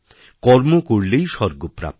কর্ম করলেই স্বর্গপ্রাপ্তি হয়